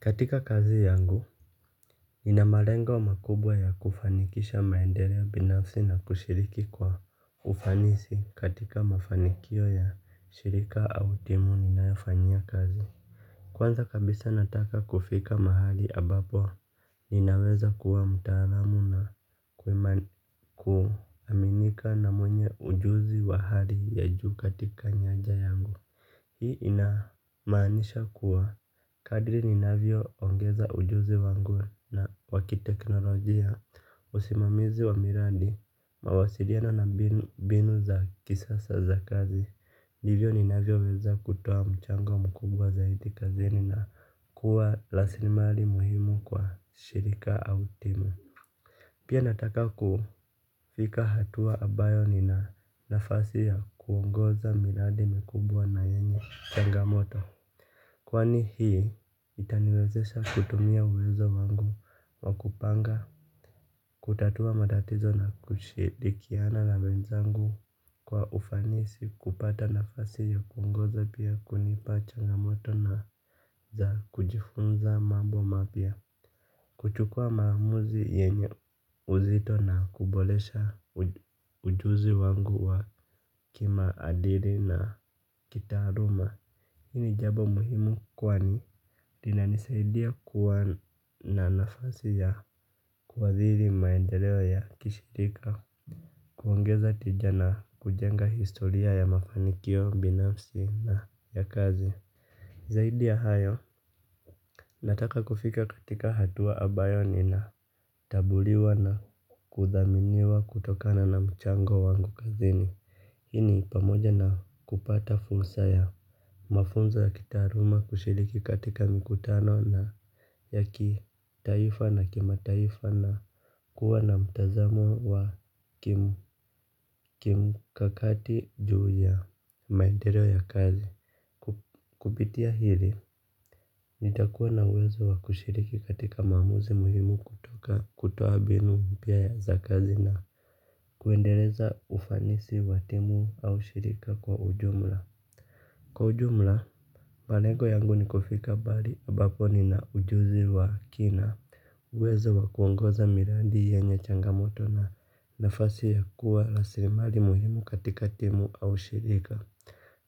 Katika kazi yangu, nina marengo makubwa ya kufanikisha maendereo binafsi na kushiriki kwa ufanisi katika mafanikio ya shirika au timu ninayofanyia kazi. Kwanza kabisa nataka kufika mahali abapo, ninaweza kuwa mtaalamu na kuaminika na mwenye ujuzi wa hali ya juu katika nyanja yangu. Hii inamanisha kuwa kadri ni ongeza ujuzi wangu wa wakiteknolojia usimamizi wa miradi mawasiliano na binu za kisasa za kazi. Divyo ninavyo weza kutoa mchango mkubwa zaidi kazini na kuwa lasilimali muhimu kwa shirika au timu. Pia nataka kufika hatua abayo nina nafasi ya kuongoza miladi mikubwa na yenye changamoto. Kwani hii itaniwezesha kutumia uwezo wangu wa kupanga. Kutatua matatizo na kushidikiana la mwenzangu kwa ufanisi kupata nafasi ya kuongoza pia kunipa changamoto na za kujifunza mambo wa mapya. Kuchukua maamuzi yenye uzito na kubolesha ujuzi wangu wa kimaadili na kitaaluma. Hini jabo muhimu kwani linanisaidia kuwa na nafasi ya kuwaziri maendeleo ya kishirika. Kuongeza tija na kujenga historia ya mafanikio binafsi na ya kazi. Zaidi ya hayo. Nataka kufika katika hatua abayo nina tabuliwa na kuthaminiwa kutokana na mchango wangu kazini. Hii ni pamoja na kupata fulsa ya mafunza ya kitaaruma kushiriki katika mikutano na yakitaifa na kimataifa na kuwa na mtazamo wa kimkakati juu ya maendereo ya kazi. Kupitia hili, nitakuwa na uwezo wa kushiriki katika maamuzi muhimu kutoka kutoa binu mpya ya za kazi na kuendeleza ufanisi wa timu au shirika kwa ujumla. Kwa ujumla, malengo yangu ni kufika bali abapo ni na ujuzi wa kina. Uwezo wa kuongoza mirandi yenye changamoto na nafasi ya kuwa la sirimali muhimu katika timu au shirika.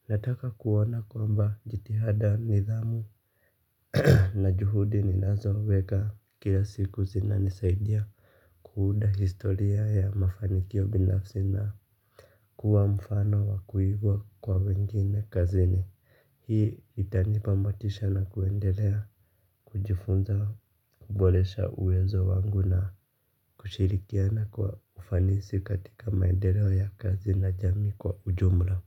Nataka kuona kwamba jitihada nidhamu na juhudi ninazo weka kila siku zinanisaidia kuunda historia ya mafanikio binafsi na kuwa mfano wa kuigwa kwa wengine kazini. Hii itanipa motisha na kuendelea kujifunza kubolesha uwezo wangu na kushirikiana kwa ufanisi katika maendeleo ya kazi na jamii kwa ujumla.